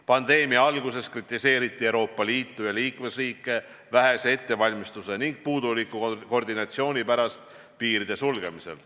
Pandeemia alguses kritiseeriti Euroopa Liitu ja liikmesriike vähese ettevalmistuse ning puuduliku koordinatsiooni pärast piiride sulgemisel.